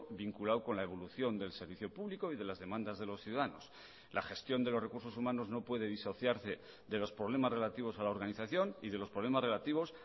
vinculado con la evolución del servicio público y de las demandas de los ciudadanos la gestión de los recursos humanos no puede disociarse de los problemas relativos a la organización y de los problemas relativos